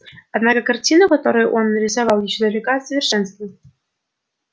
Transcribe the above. однако картина которую он нарисовал ещё далека от совершенства